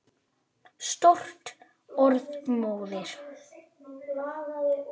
Stórt orð móðir!